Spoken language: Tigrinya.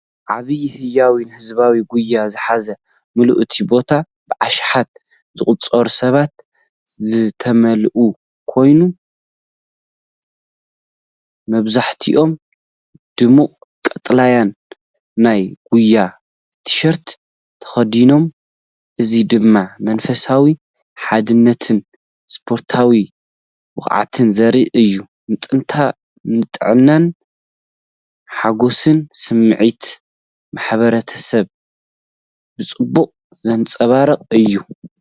ዓቢይን ህያውን ህዝባዊ ጉያ ዝሓዘ፣! ምሉእ እቲ ቦታ ብኣሽሓት ዝቑጸሩ ሰባት ዝተመልአ ኮይኑ፡ መብዛሕትኦም ድሙቕ ቀጠልያ ናይ ጉያ ቲሸርት ተኸዲኖም፡ እዚ ድማ መንፈስ ሓድነትን ስፖርታዊ ብቕዓትን ዘርኢ እዩ። ንጥዕናን ሓጎስን ስምዒት ማሕበረሰብን ብጽቡቕ ዘንጸባርቕ እዩ፡፡